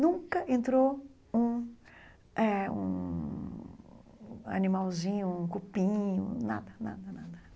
Nunca entrou um eh um animalzinho, um cupim, nada, nada, nada.